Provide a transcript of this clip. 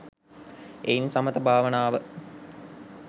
එයින් සමථ භාවනාව